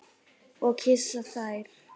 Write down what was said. Og kyssa þær.